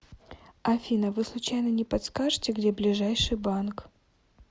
афина вы случайно не подскажите где ближайший банк